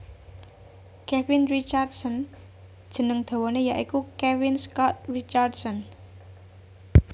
Kevin Richardson jeneng dawané ya iku Kevin Scott Richardson